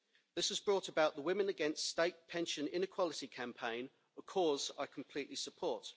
This has brought about the Women Against State Pension Inequality campaign, a cause I completely support.